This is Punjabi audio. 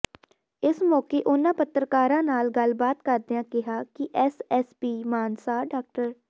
ਇਸ ਮੌਕੇ ਉਨ੍ਹਾਂ ਪੱਤਰਕਾਰਾਂ ਨਾਲ ਗੱਲਬਾਤ ਕਰਦਿਆਂ ਕਿਹਾ ਕਿ ਐਸ ਐਸ ਪੀ ਮਾਨਸਾ ਡਾ